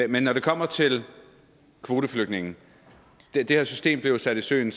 men når det kommer til kvoteflygtninge blev det her system jo sat i søen i